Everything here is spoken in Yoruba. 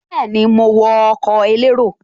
Bẹ́ẹ̀ni, mo wọ ọkọ̀ elérò